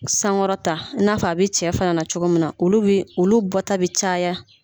San kɔrɔta n'a fɔ a bɛ cɛ fana na cogo min na, olu bi olu bɔ ta bɛ caya.